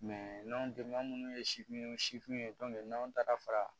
minnu ye sifin sifinw ye n'anw taara fara